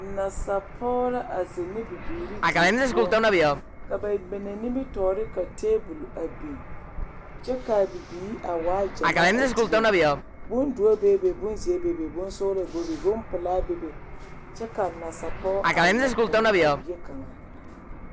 Nasapɔɡe la a zeŋ ne bibiiri die poɔ ka ba mine nimitɔɔ ka teebuli a biŋ kyɛ ka a bibiiri waa ɡyamaa a dieŋ bondoɔ bonbonzeɛ bonsɔɡelɔ bebe bompelaa kyɛ nasapɔɡe la tɔɔre a bie .